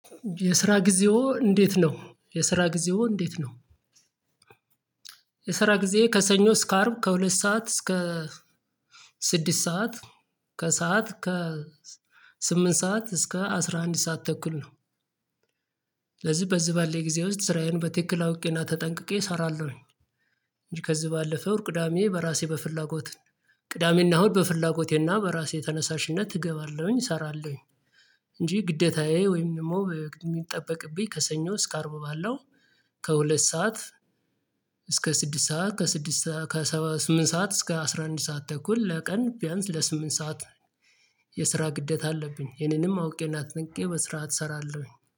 የስራ ጊዜዎ እንዴት ነው የስራ ጊዜው እንዴት ነው የስራ ጊዜ ከሰኞ እስከ አርብ ከሁለት ሰዓት እስከ ስድስት ሰዓት ከሰአት ከ ስምንት ሰዓት እስከ አስራ አንድ ሰዓት ተኩል ነው። ለዚህ በዚህ ባለ የጊዜ ውስጥ ስራዬን በትክክል አውቄና ተጠንቅቄ እሰራለሁኝ እንጂ ከዚህ ባለፈው ወር ቅዳሜ በራሴ በፍላጎት ቅዳሜና ሁድ በፍላጎቴና በራሴ ተነሳሽነት እገባለሁኝ እሰራለሁኝ እንጂ ግደታዬ ወይም ደግሞ የሚጠበቅብኝ ከሰኞ እስከ አርቡ ባለው ከሁለት ሰዓት እስከ ስድስት ሰዓት ከስድስት ሰዓት ከስምንት ሰዓት እስከ አስራ አንድ ሰዓት ተኩል ለቀን ቢያንስ ለስምንት ሰዓት የስራ ግዴታ አለብኝ ይሄንንም አውቄ ና ተጠንቅቄ በስራት አትሰራለሁኝ